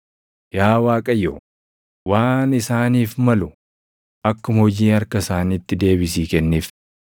Yaa Waaqayyo, waan isaaniif malu akkuma hojii harka isaaniitti deebisii kenniif.